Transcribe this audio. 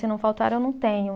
Se não faltar, eu não tenho.